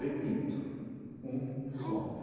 Repito, um sonho.